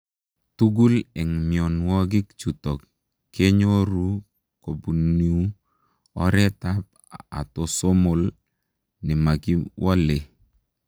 Tugul eng mionwogik chutok kenyoruu kobuniu oreet ap atosomol nemakiwolee.